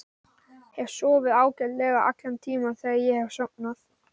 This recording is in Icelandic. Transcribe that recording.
Hef sofið ágætlega allan tímann þegar ég hef sofnað.